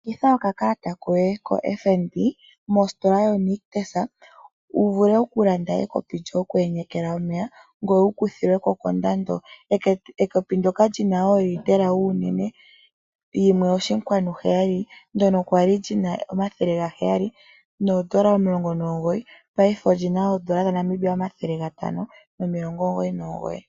Longitha okakalata koye koFNB mositola yoNIctus, wu vule okulanda ekopi lyoku enyeka omeya ngoye wu kuthilwe ko kondando. Ekopi ndyoka lyuunene woolitela 1.7, ndyoka lya li lina N$ 719 paife oli na N$ 599.